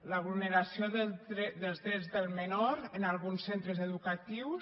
la vulneració dels drets del menor en alguns centres educatius